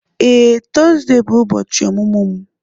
Ee, Tọzdee bụ ubochi ọmụmụ m.